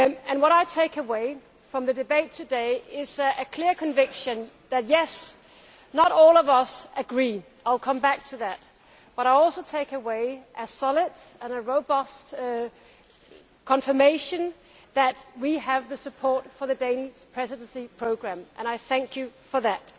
What I take away from the debate today is a clear conviction that, yes, not all of us agree I will come back to that but also a solid and robust confirmation that we have support for the Danish Presidency programme and I thank you for that.